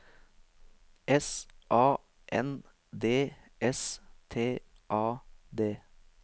S A N D S T A D